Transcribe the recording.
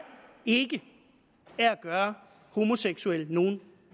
ikke er at gøre homoseksuelle nogen